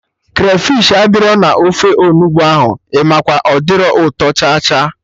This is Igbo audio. Krafish adịrọ na ofe Onugbu ahụ, Imakwa, ọ dirọ ụtọ cha cha